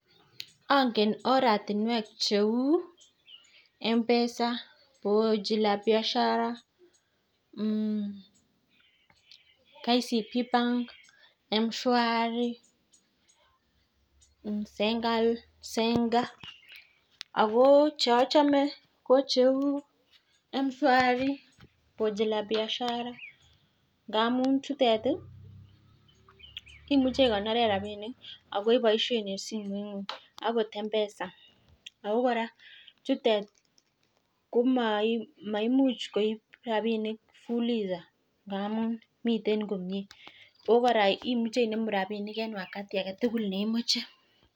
Angen oratiwek cheu mpesa pochi la piashara ,kcb Bank, mshuari ,senka ako cheachome ko cheu mshuari ,pochi la piashar ngamun chutet ii imuch ikonoren rabink ok imuche iboishen en simoit ngung ako mpesa ako kora chutet ko maimuch koib rabinik fulisa indamun miten komie ako imuche inemu rabiniken [cs[wakati aketukul nemoche.